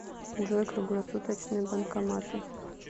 джой круглосуточные банкоматы